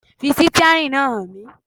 Fi sítíárìn náà hàn mí.